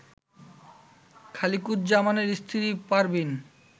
খালিকুজ্জামানের স্ত্রী পারভীন